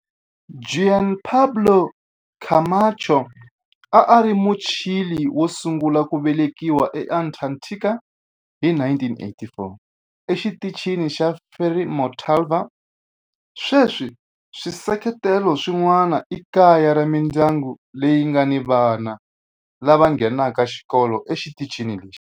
Juan Pablo Camacho a a ri Muchile wo sungula ku velekiwa eAntarctica hi 1984 eXitichini xa Frei Montalva. Sweswi swisekelo swin'wana i kaya ra mindyangu leyi nga ni vana lava nghenaka xikolo exitichini lexi.